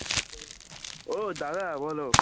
ও দাদা বল